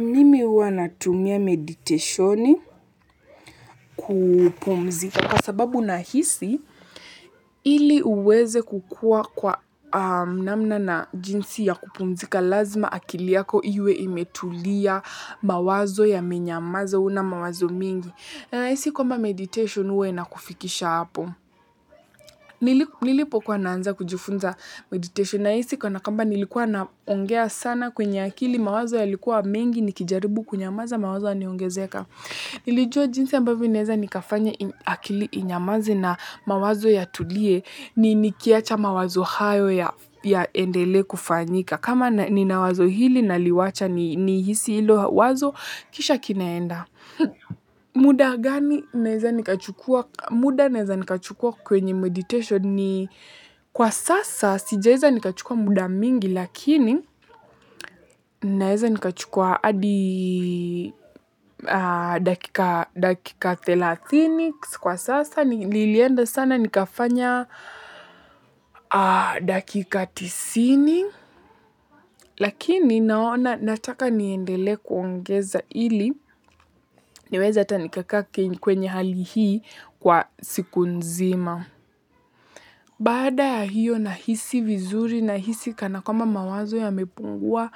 Mimi huwa natumia meditation kupumzika kwa sababu nahisi ili uweze kukua kwa namna na jinsi ya kupumzika lazima akili yako iwe imetulia mawazo yamenyamaza huna mawazo mengi. Nahisi kwamba meditation huwa inakufikisha hapo. Nilipokua naanza kujifunza meditation nahisi kana kwamba nilikuwa naongea sana kwenye akili mawazo yalikuwa mengi nikijaribu kunyamaza mawazo yanaongezeka. Nilijua jinsi ambavyo naweza nikafanya akili inyamaze na mawazo yatulie ni nikiacha mawazo hayo yaendelee kufanyika kama nina wazo hili naliwacha nihisi hilo wazo kisha kinaenda. Muda gani naweza nikachukua kwenye meditation ni kwa sasa sijaweza nikachukua muda mwingi lakini naweza nikachukua hadi dakika thelathini kwa sasa nilienda sana nikafanya dakika tisini lakini naona nataka niendelee kuongeza ili niweze hata nikakaa kwenye hali hii kwa siku nzima. Baada ya hiyo nahisi vizuri nahisi kana kwamba mawazo yamepungua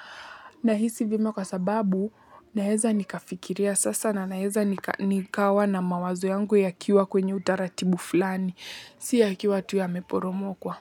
nahisi vema kwasababu naweza nikafikiria sasa na naweza nikawa na mawazo yangu yakiwa kwenye utaratibu fulani. Si yakiwa tu yameporomokwa.